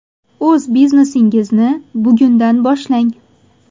O‘z biznesingizni bugundan boshlang!